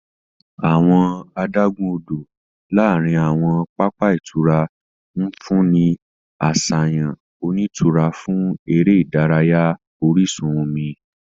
Awọn adagun-odo láàrin awọn papa ìtura nfunni ni aṣayan onitura fún eré ìdárayá orísun omi.